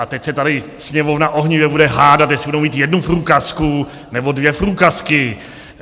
A teď se tady Sněmovna ohnivě bude hádat, jestli budou mít jednu průkazku, nebo dvě průkazky.